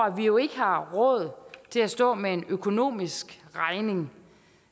at vi jo ikke har råd til at stå med en økonomisk regning